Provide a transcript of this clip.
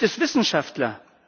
Hier gibt es Wissenschaftler.